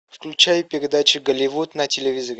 включай передачи голливуд на телевизоре